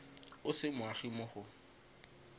o se moagi mo go